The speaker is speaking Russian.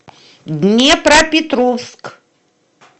днепропетровск